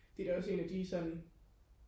det er da også en af de sådan